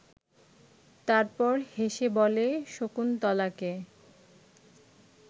তারপর হেসে বলে শকুন্তলাকে